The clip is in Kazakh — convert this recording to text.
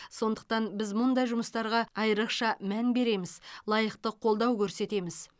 сондықтан біз мұндай жұмыстарға айрықша мән береміз лайықты қолдау көрсетеміз